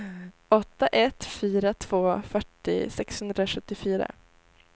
åtta ett fyra två fyrtio sexhundrasjuttiofyra